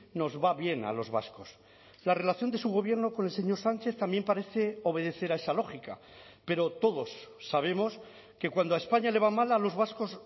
nos va bien a los vascos la relación de su gobierno con el señor sánchez también parece obedecer a esa lógica pero todos sabemos que cuando a españa le va mal a los vascos